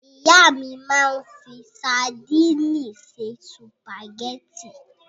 Ìyá mi máa ń fi sadíìnì se sùpàgẹ́tì.